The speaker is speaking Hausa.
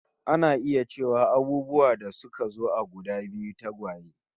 Ana iya cewa abubuwa da suka zo a guda biyu, tagwaye